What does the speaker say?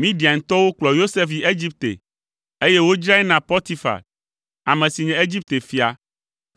Midiantɔwo kplɔ Yosef yi Egipte, eye wodzrae na Potifar, ame si nye Egipte fia,